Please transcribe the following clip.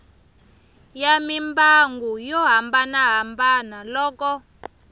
ya mimbangu yo hambanahambana loko